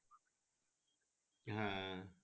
হ্যাঁ